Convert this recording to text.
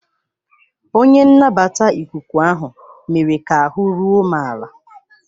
Onye nnabata ikuku ahụ mere ka ahụ́ ruo m ala.